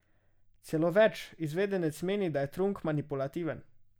Celo več, izvedenec meni, da je Trunk manipulativen.